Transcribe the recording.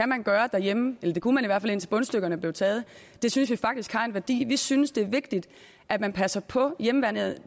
man gøre derhjemme eller det kunne man i hvert fald indtil bundstykkerne blev taget det synes vi faktisk har en værdi vi synes det er vigtigt at man passer på hjemmeværnet